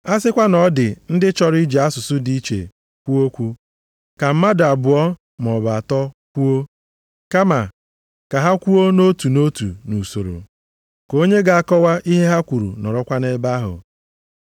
A sịkwa na ọ dị ndị chọrọ iji asụsụ dị iche kwuo okwu, ka mmadụ abụọ maọbụ atọ kwuo. Kama ka ha kwuo nʼotu nʼotu nʼusoro. Ka onye ga-akọwa ihe ha kwuru nọrọkwa nʼebe ahụ.